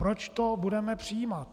Proč to budeme přijímat?